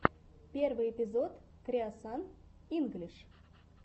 первый эпизод креосан инглиш